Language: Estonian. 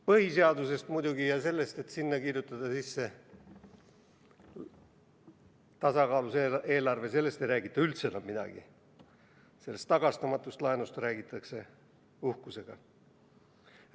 Põhiseadusest ja sellest, et sinna kirjutada sisse tasakaalus eelarve, ei räägita muidugi üldse enam midagi, sellest tagastamatust laenust räägitakse aga uhkusega.